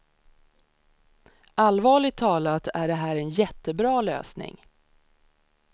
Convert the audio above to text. Allvarligt talat är det här en jättebra lösning.